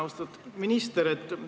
Austatud minister!